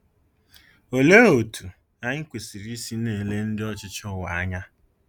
Olee otú anyị kwesịrị isi na-ele ndị ọchịchị ụwa anya?